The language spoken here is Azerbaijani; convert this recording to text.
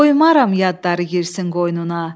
Qoymaram yadları girsin qoynuna.